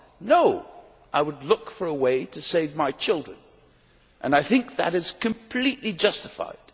No! I would look for a way to save my children, and I think that is completely justified.